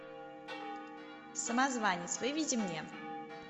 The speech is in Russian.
самозванец выведи мне